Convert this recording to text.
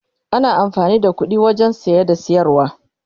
ana amfani da ƙuɗi wajen saye da siyarwa